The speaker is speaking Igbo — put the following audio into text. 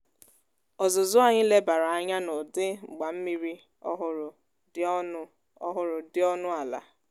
ọzuzụ anyi lebara anya n' udi mgbammiri ọhụrụ dị ọnụ ọhụrụ dị ọnụ ala